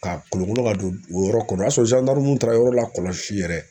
Ka kolokolo ka don o yɔrɔ kɔnɔ o y'a sɔrɔ taara yɔrɔ lakɔlɔsi yɛrɛ.